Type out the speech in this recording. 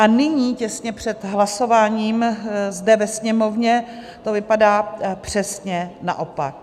A nyní těsně před hlasováním zde ve Sněmovně to vypadá přesně naopak.